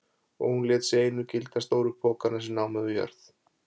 Og hún lét sig einu gilda stóru pokana sem námu við jörð.